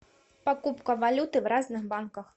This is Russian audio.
покупка валюты в разных банках